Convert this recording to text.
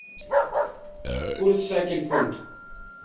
курс шекель фунт